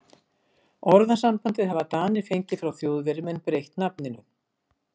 Orðasambandið hafa Danir fengið frá Þjóðverjum en breytt nafninu.